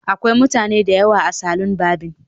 Akwai mutane da yawa a salon barbing